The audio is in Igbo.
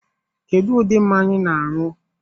Kedu ụdị mmanya I na-anu?